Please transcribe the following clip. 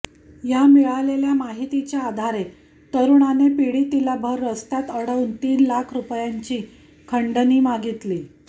या मिळालेल्या माहितीच्या आधारे तरुणांने पीडितीला भर रस्त्यात अडवून तीन लाख रुपयांची खंडणी मागितली